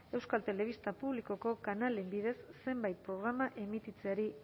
euskal telebista publikoko kanalen bidez zenbait programa emititzeari